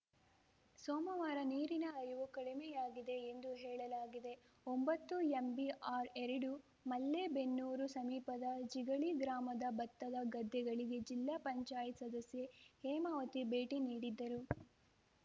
ಸೋಮವಾರ ನೀರಿನ ಹರಿವು ಕಡಿಮೆಯಾಗಿದೆ ಎಂದು ಹೇಳಲಾಗಿದೆ ಒಂಬತ್ತುಎಂಬಿಆರ್‌ಎರಡು ಮಲ್ಲೇಬೆನ್ನೂರು ಸಮೀಪದ ಜಿಗಳಿ ಗ್ರಾಮದ ಭತ್ತದ ಗದ್ದೆಗಳಿಗೆ ಜಿಲ್ಲಾ ಪಂಚಾಯತ್ ಸದಸ್ಯೆ ಹೇಮಾವತಿ ಭೇಟಿ ನೀಡಿದ್ದರು